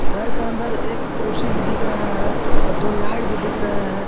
घर का अंदर एक कुर्सी भी दिख रहा है और दो लाइट भी दिख रहा है ।